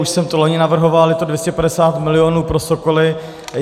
Už jsem to loni navrhoval, je to 250 mil. pro sokoly.